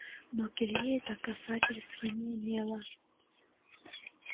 но к илье это касательства не имело